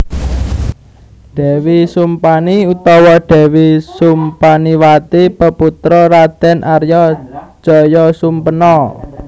Dèwi Sumpani utawa Dèwi Sumpaniwati peputra Raden Arya Jayasumpena